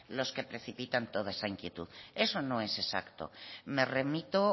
los que precipitan toda esa inquietud eso no es exacto me remito